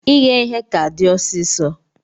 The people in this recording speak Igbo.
Ighe ihe ka di ọsisọ.